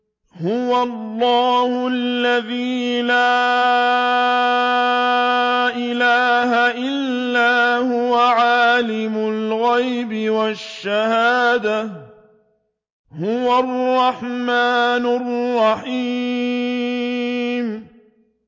هُوَ اللَّهُ الَّذِي لَا إِلَٰهَ إِلَّا هُوَ ۖ عَالِمُ الْغَيْبِ وَالشَّهَادَةِ ۖ هُوَ الرَّحْمَٰنُ الرَّحِيمُ